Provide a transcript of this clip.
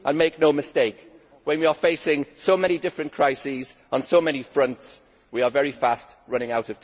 Make no mistake, when we are facing so many different crises on so many fronts, we are very fast running out